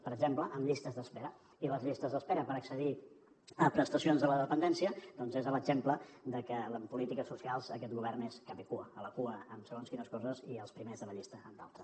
per exemple amb llistes d’espera i les llistes d’espera per accedir a prestacions de la dependència doncs són l’exemple de que en polítiques socials aquest govern és capicua a la cua en segons quines coses i els primers de la llista en d’altres